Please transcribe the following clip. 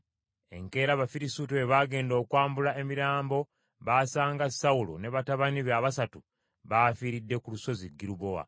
Enkeera, Abafirisuuti bwe baagenda okwambula emirambo, baasanga Sawulo ne batabani be abasatu bafiiridde ku lusozi Girubowa.